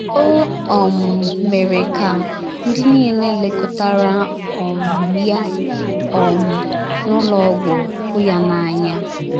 O um mere ka ndị niile lekọtara um ya um n’ụlọ ọgwụ hụ ya n’anya.